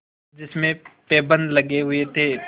जिसमें पैबंद लगे हुए थे